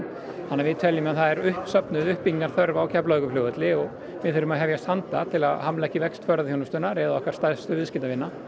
þannig að við teljum að það sé uppsöfnuð uppbyggingarþörf á Keflavíkurflugvelli og við þurfum að hefjast handa til að hamla ekki vexti ferðaþjónustunnar eða okkar stærstu viðskiptavina